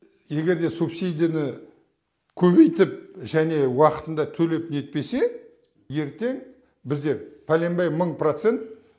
егер де субсидияны көбейтіп және уақытында төлеп нетпесе ертең біз пәленбай мың процент